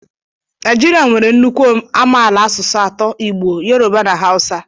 Naijiria nwere nnukwu amaala asụsụ atọ - Igbo, Yoruba na Hausa.